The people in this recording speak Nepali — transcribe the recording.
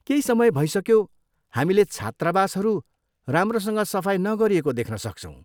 केही समय भइसक्यो हामीले छात्रावासहरू राम्रोसँग सफाइ नगरिएको देख्न सक्छौँ।